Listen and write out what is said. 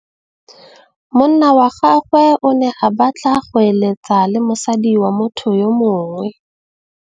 Monna wa gagwe o ne a batla go êlêtsa le mosadi wa motho yo mongwe.